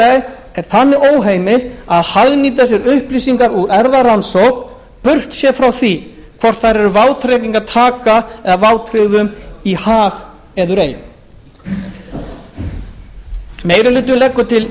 er þannig óheimilt að hagnýta sér upplýsingar úr erfðarannsókn burt séð frá því hvort þær eru vátryggingartaka eða vátryggðum í hag eður ei meiri hlutinn leggur